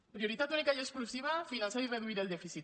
prioritat única i exclusiva finançar i reduir el dèficit